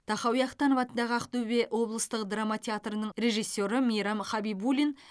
тахауи ахтанов атындағы ақтөбе облыстық драма театрының режиссері мейрам хабибуллин